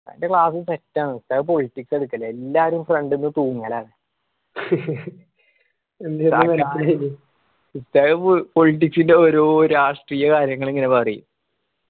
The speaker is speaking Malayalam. ഉസ്താദിന്റെ class set ആണ്. ഉസ്താദ് politics ആ എടുക്കല് എല്ലാരും front തൂങ്ങലാണ് ഉസ്താദ് politics ന്റെ ഓരോ രാഷ്ട്രീയ കാര്യങ്ങള് ഇങ്ങന പറയും.